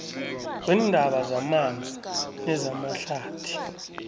weendaba zamanzi nezamahlathi